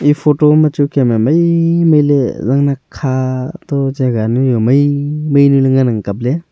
e photo ma chu Kem e maimai le zang nak kha to jagah nu jao jagah nu jao maimai nu le ngan ang kap ley.